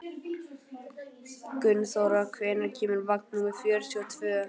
Gunnþóra, hvenær kemur vagn númer fjörutíu og tvö?